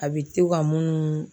A bɛ to ka minnu